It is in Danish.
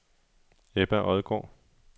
Ebba Odgaard